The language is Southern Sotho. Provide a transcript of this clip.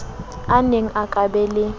aneng a ka ba le